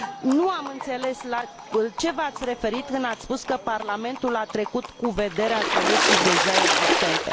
Nu am înțeles la ce v ați referit când ați spus că Parlamentul a trecut cu vederea soluții deja existente.